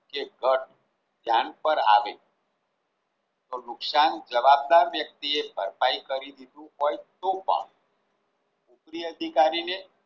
કે ઘટ જાનપર આવે તો નુકસાન જવાબદાર વ્યક્તિ એ ભરપાઈ કરી દીધું હોય તો પણ ઉપરી અધિકારી ને